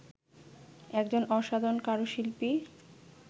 একজন অসাধারণ কারুশিল্পী